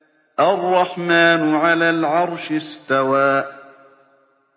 الرَّحْمَٰنُ عَلَى الْعَرْشِ اسْتَوَىٰ